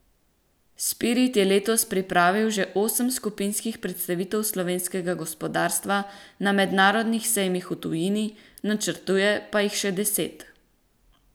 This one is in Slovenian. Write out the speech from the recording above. Spirit je letos pripravil že osem skupinskih predstavitev slovenskega gospodarstva na mednarodnih sejmih v tujini, načrtuje pa jih še deset.